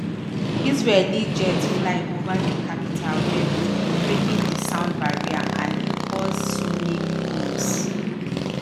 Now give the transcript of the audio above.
israeli jets fly ova di capital beirut breaking di sound barrier and e cause sonic booms.